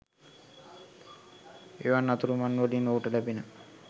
එවන් අතුරුමංවලින් ඔහුට ලැබෙන